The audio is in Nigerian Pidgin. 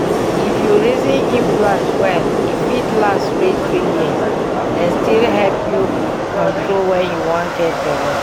if you reason implant well e fit last reach three years and still help you control when you wan get belle.